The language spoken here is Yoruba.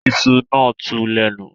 Iṣu náà tú lẹ́nu